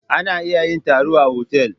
Ana iya yin taro a otal.